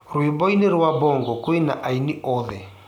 rwĩmbo ini rwa bango kwĩna aini oothe